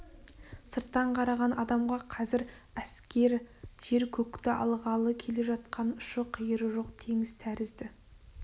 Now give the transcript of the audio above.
сырттан қараған адамға қазір әскер жер-көкті алғалы келе жатқан ұшы-қиыры жоқ теңіз тәрізді